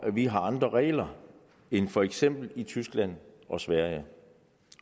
vi har andre regler end for eksempel i tyskland og sverige